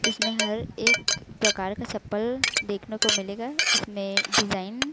इसमें हर एक प्रकार का चप्पल देखने को मिलेगा इसमें डिजाइन --